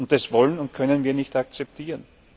Das wollen und können wir nicht akzeptieren.